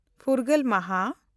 ᱯᱷᱩᱨᱜᱟᱹᱞ ᱢᱟᱦᱟ